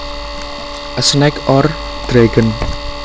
A snake or dragon